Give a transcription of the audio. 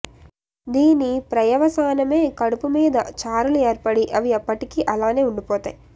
దీని ప్రయవసానమే కడుపు మీద చారలు ఏర్పడి అవి ఎప్పటికి అలానే ఉండిపోతాయి